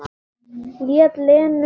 Lét Lenu um sitt.